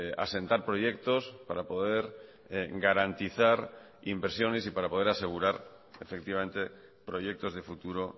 asentar proyectos para poder garantizar inversiones y para poder asegurar efectivamente proyectos de futuro